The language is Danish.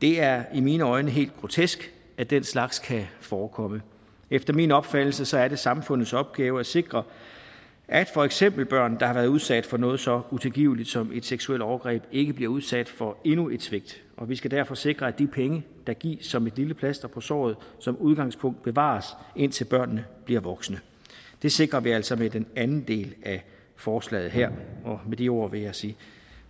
det er i mine øjne helt grotesk at den slags kan forekomme efter min opfattelse er det samfundets opgave at sikre at for eksempel børn der har været udsat for noget så utilgiveligt som et seksuelt overgreb ikke bliver udsat for endnu et svigt og vi skal derfor sikre at de penge der gives som et lille plaster på såret som udgangspunkt bevares indtil børnene bliver voksne det sikrer vi altså med den anden del af forslaget her med de ord vil jeg sige